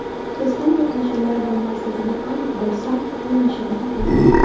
Keskin to‘qnashuvlar bo‘lmasligini aniq bilsam, o‘ynashim mumkin.